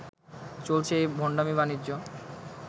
চলছে এই ভণ্ডামি বাণিজ্য